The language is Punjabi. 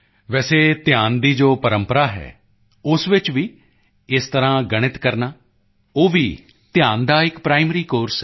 ਵੈਸੇ ਧਿਆਨ ਦੀ ਜੋ ਪਰੰਪਰਾ ਹੈ ਉਸ ਵਿੱਚ ਵੀ ਇਸ ਤਰ੍ਹਾਂ ਗਣਿਤ ਕਰਨਾ ਉਹ ਵੀ ਧਿਆਨ ਦਾ ਇੱਕ ਪ੍ਰਾਇਮਰੀ ਕੋਰਸ ਹੈ